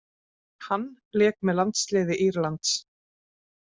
Hann lék með landsliði Írlands.